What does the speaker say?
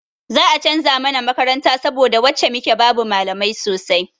Za a canza mana makaranta saboda wacce muke babu malamai sosai.